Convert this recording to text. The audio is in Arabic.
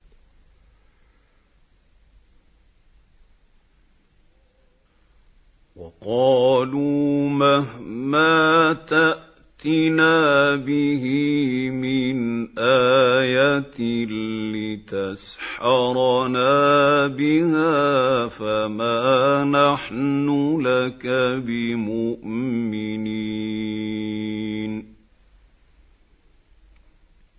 وَقَالُوا مَهْمَا تَأْتِنَا بِهِ مِنْ آيَةٍ لِّتَسْحَرَنَا بِهَا فَمَا نَحْنُ لَكَ بِمُؤْمِنِينَ